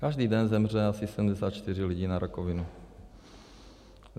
Každý den zemře asi 74 lidí na rakovinu.